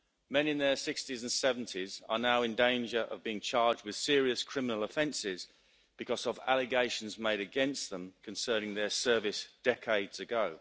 Men in their 60s and 70s are now in danger of being charged with serious criminal offences because of allegations made against them concerning their service decades ago.